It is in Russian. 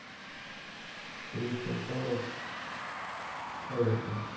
кристал пэлас эвертон